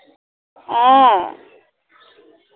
অ